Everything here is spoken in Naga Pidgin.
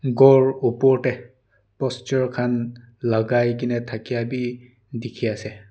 ghor opor te posture khan lagai gina thakia b dikhi ase.